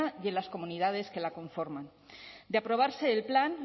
y en las comunidades que la conforman de aprobarse el plan